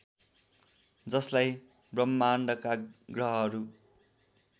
जसलाई ब्रह्माण्डका ग्रहहरू